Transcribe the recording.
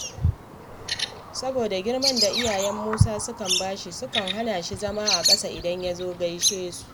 Saboda girman da iyayen Musa suke ba shi, sukan hana shi zama a ƙasa idan ya zo gaishe su